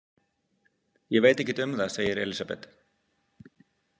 Ég veit ekkert um það, segir Elísabet.